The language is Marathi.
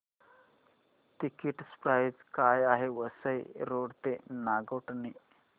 टिकिट प्राइस काय आहे वसई रोड ते नागोठणे